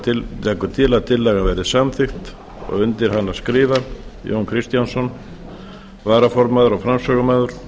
til að tillagan verði samþykkt undir hana skrifa jón kristjánsson varaformaður og framsögumaður